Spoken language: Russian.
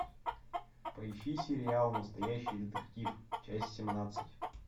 поищи сериал настоящий детектив часть семнадцать